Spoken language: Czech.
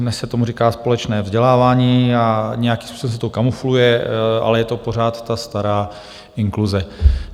Dnes se tomu říká společné vzdělávání a nějakým způsobem se to kamufluje, ale je to pořád ta stará inkluze.